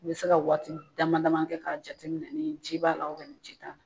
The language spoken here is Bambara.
I bɛ se ka waati damadama kɛ ka jateminɛna ni ci b'a la ka nin ci ta la.